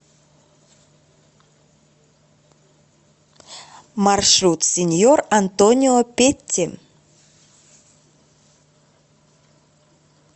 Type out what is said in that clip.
маршрут синьор антонио петти